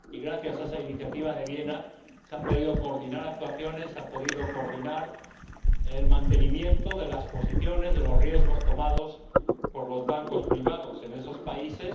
Gracias a esa Iniciativa de Viena se han podido coordinar actuaciones, se ha podido coordinar el mantenimiento de las posiciones, de los riesgos tomados por los bancos privados en esos países